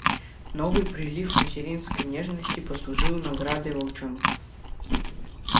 новый прилив материнской нежности послужил наградой волчонку